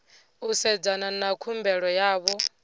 u sedzana na khumbelo yavho